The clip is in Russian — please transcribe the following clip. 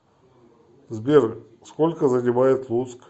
сбер сколько занимает луцк